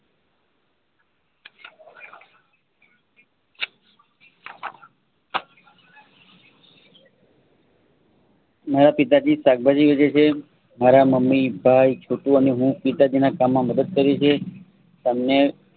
મારા પિતાજી શાકભાજી વેચે છે. મારા મમ્મી ભાઈ છોટુ અને હું પિતાજીના કામમાં મદદ કરીયે છીએ. તમને